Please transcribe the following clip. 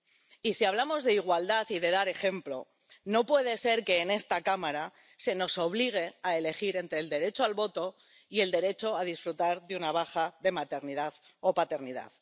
Y, si hablamos de igualdad y de dar ejemplo, no puede ser que en esta Cámara se nos obligue a elegir entre el derecho al voto y el derecho a disfrutar de una baja de maternidad o paternidad.